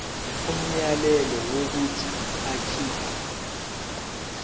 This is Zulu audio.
umyalelo wokuthi akhipha